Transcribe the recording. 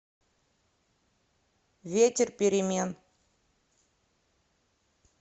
ветер перемен